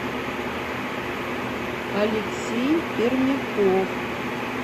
алексей пермяков